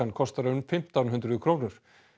kostar um fimmtán hundruð krónur